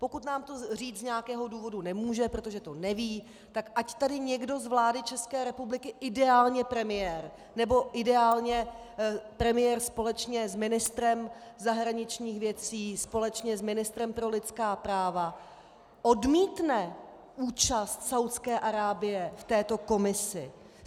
Pokud nám to říct z nějakého důvodu nemůže, protože to neví, tak ať tady někdo z vlády České republiky, ideálně premiér nebo ideálně premiér společně s ministrem zahraničních věcí, společně s ministrem pro lidská práva, odmítne účast Saúdské Arábie v této komisi.